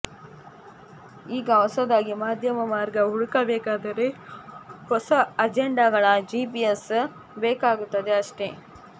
ಈಗ ಹೊಸದಾಗಿ ಮಧ್ಯಮ ಮಾರ್ಗ ಹುಡುಕಬೇಕೆಂದರೆ ಹೊಸ ಅಜೆಂಡಾಗಳ ಜಿಪಿಎಸ್ ಬೇಕಾಗುತ್ತದೆ ಅಷ್ಟೆ